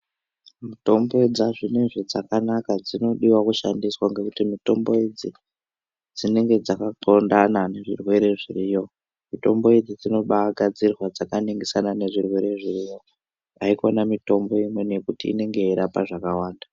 Mitombo dzazvinezvi dzakanaka dzinodiwa kushandiswa ngekuti mutombo idzi dzinonga dzakapondxondana nezvirwere zviriyo. Mitombo idzi dzinobagadzirwa dzakaningisana ngezvirwere zviriyo haikona mitombo imweni yekuti inenge yeirapa zvakawanda.